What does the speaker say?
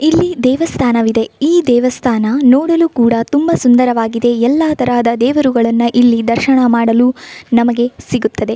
ಇಲ್ಲಿ ದೇವಸ್ಥಾನವಿದೆ ಈ ದೇವಸ್ಥಾನ ನೋಡಲು ಕೂಡ ತುಂಬಾ ಸುಂದರವಾಗಿದೆ ಎಲ್ಲಾ ತರಹದ ದೇವರುಗಳನ್ನಇಲ್ಲಿ ದರ್ಶನ ಮಾಡಲು ನಮಗೆ ಸಿಗುತ್ತದೆ.